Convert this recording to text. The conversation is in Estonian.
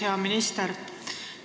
Hea minister!